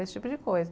Esse tipo de coisa.